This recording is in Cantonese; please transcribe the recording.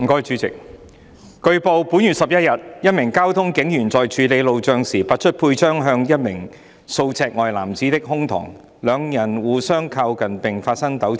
主席，據報，本月11日，一名交通警員在處理路障時，拔出佩槍指向一名數尺外男子的胸膛，兩人互相靠近並發生糾纏。